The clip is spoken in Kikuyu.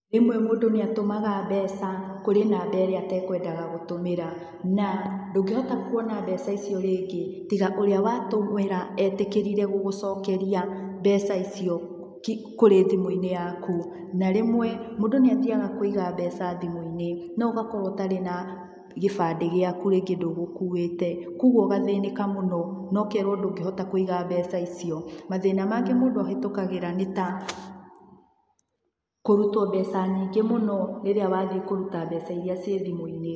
Rĩmwe mũndũ nĩatũmaga mbeca kũrĩ namba ĩrĩa atakwendaga gũtũmĩra, na ndũngĩhota kuona mbeca icio rĩngĩ, tiga ũria watũmĩra etĩkĩrire gũgũcokeria mbeca icio ki kũrĩ thimũinĩ yaku, na rĩmwe mũndũ nĩathiaga kũiga mbeca thimũinĩ no ũgakorwo ũtarĩ na gĩbandĩ gĩaku rĩngĩ ndũgũkuĩte. Koguo ũgathinika mũno no kerwo ndũngĩhota kũiga mbeca icio, mathĩna mangĩ mũndũ ahĩtũkagĩra nĩ ta kũrũtwo mbeca nyingĩ mũno rĩrĩa wathiĩ kũrũta mbeca iria ciĩ thimũ-inĩ.